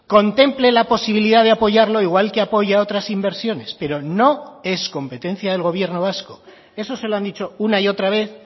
contemple la posibilidad de apoyarlo igual que apoya otras inversiones pero no es competencia del gobierno vasco eso se lo han dicho una y otra vez